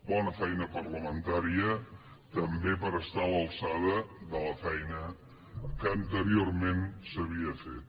bona feina parlamentària també per estar a l’alçada de la feina que anteriorment s’havia fet